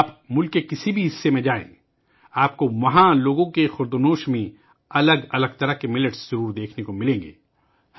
آپ ملک کے کسی بھی حصے میں جائیں، وہاں کے لوگوں کے کھانے میں آپ کو الگ الگ طرح کے موٹے اناج دیکھنے کو ضرور ملیں گے